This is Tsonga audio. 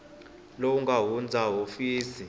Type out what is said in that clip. lowu nga hundza wa hofisi